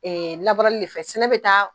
Ee labɔrali de fɛ sɛnɛ bɛ taa